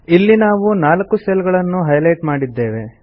ಈಗ ನಾವು 4 ಸೆಲ್ ಗಳನ್ನು ಹೈ ಲೈಟ್ ಮಾಡಿದ್ದೇವೆ